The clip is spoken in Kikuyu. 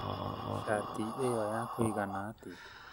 Çati ĩyo yakũigana atĩa?